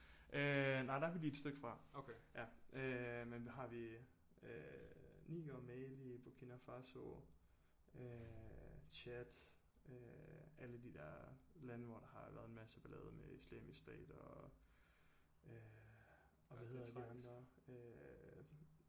Øh nej der er vi lige et stykke fra øh men hvad har vi øh Niger Mali Burkina Faso øh Chad øh alle de der lande hvor der har været en masse ballade med islamisk stat og øh og hvad hedder de andre øh